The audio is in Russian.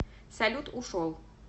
салют ушел